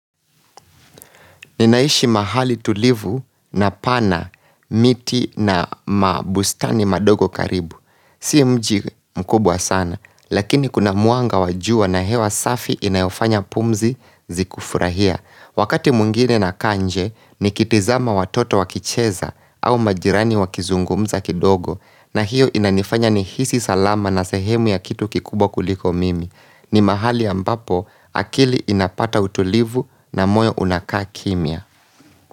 Ninaishi mahali tulivu na pana miti na mabustani madogo karibu. Si mji mkubwa sana, lakini kuna mwanga wa jua na hewa safi inayofanya pumzi zikufurahia. Wakati mwingine nakaa nje, nikitizama watoto wakicheza au majirani wakizungumza kidogo. Na hiyo inanifanya nihisi salama na sehemu ya kitu kikubwa kuliko mimi. Ni mahali ambapo akili inapata utulivu na moyo unakaa kimya.